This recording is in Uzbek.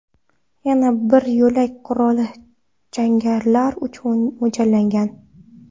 Yana bir yo‘lak qurolli jangarilar uchun mo‘ljallangan.